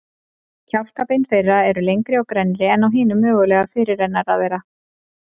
Kjálkabein þeirra eru lengri og grennri en á hinum mögulega fyrirrennara þeirra.